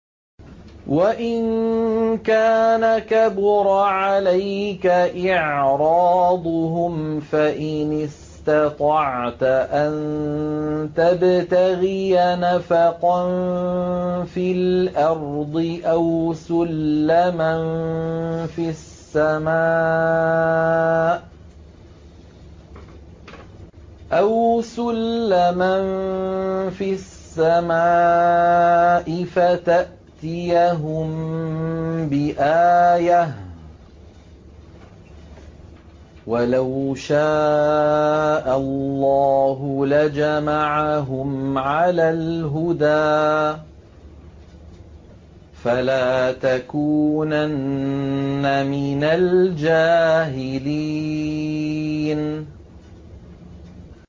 وَإِن كَانَ كَبُرَ عَلَيْكَ إِعْرَاضُهُمْ فَإِنِ اسْتَطَعْتَ أَن تَبْتَغِيَ نَفَقًا فِي الْأَرْضِ أَوْ سُلَّمًا فِي السَّمَاءِ فَتَأْتِيَهُم بِآيَةٍ ۚ وَلَوْ شَاءَ اللَّهُ لَجَمَعَهُمْ عَلَى الْهُدَىٰ ۚ فَلَا تَكُونَنَّ مِنَ الْجَاهِلِينَ